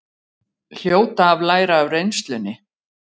Hljóta að læra af reynslunni